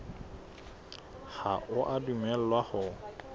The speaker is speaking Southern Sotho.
ha o a dumellwa ho